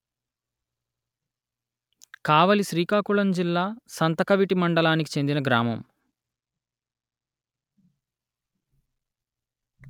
కావలి శ్రీకాకుళం జిల్లా సంతకవిటి మండలానికి చెందిన గ్రామము